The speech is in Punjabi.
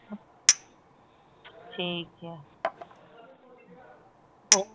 ਠੀਕ ਆ ਹੋ